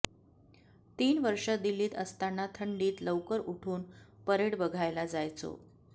तीन वर्षं दिल्लीत असताना थंडीत लवकर उठून परेड बघायला जायचो